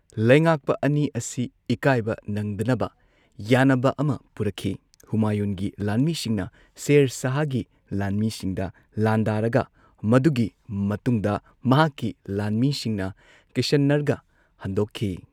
ꯂꯩꯉꯥꯛꯄ ꯑꯅꯤ ꯑꯁꯤ ꯏꯀꯥꯏꯕ ꯅꯪꯗꯅꯕ ꯌꯥꯅꯕ ꯑꯃ ꯄꯨꯔꯛꯈꯤ ꯍꯨꯃꯥꯌꯨꯟꯒꯤ ꯂꯥꯟꯃꯤꯁꯤꯡꯅ ꯁꯦꯔ ꯁꯍꯥꯍꯒꯤ ꯂꯥꯟꯃꯤꯁꯤꯡꯗ ꯂꯥꯟꯗꯥꯔꯒ ꯃꯗꯨꯒꯤ ꯃꯇꯨꯡꯗ ꯃꯍꯥꯛꯀꯤ ꯂꯥꯟꯃꯤꯁꯤꯡꯅ ꯀꯤꯁꯟꯅꯔꯒ ꯍꯟꯗꯣꯛꯈꯤ ꯫